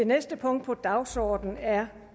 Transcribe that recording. næste punkt på dagsordenen er